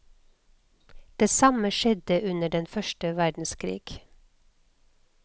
Det samme skjedde under den første verdenskrig.